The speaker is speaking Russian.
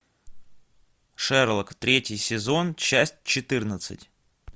шерлок третий сезон часть четырнадцать